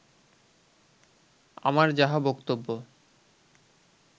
আমার যাহা বক্তব্য